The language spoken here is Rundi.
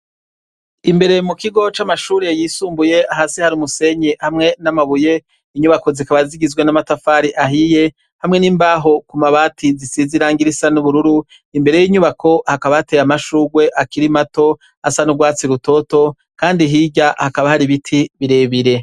Imbere mukigo camashure yisumbuye hasi hari umusenyi hamwe namabuye inyubako zikaba zifise namatafari ahiye hamwe nimbaho kumabati zisize irangi risa nubururu imbere yinyubako hakaba hateye amashurwe akiri mato asa nurwatsi rutoto kandi hirya hakaba hari ibiti birebire